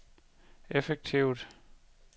effektivt